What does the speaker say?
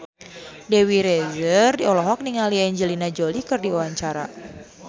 Dewi Rezer olohok ningali Angelina Jolie keur diwawancara